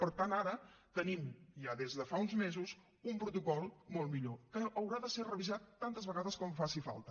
per tant ara tenim ja des de fa uns mesos un protocol molt millor que haurà de ser revisat tantes vegades com faci falta